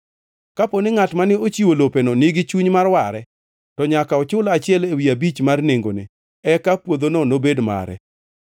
Kaponi ngʼat mane ochiwo lopeno nigi chuny mar ware, to nyaka ochul achiel ewi abich mar nengone, eka puodhono nobed mare.